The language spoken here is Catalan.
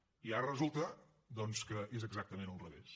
i ara resulta que és exactament al revés